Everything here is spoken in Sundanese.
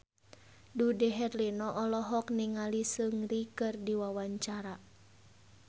Dude Herlino olohok ningali Seungri keur diwawancara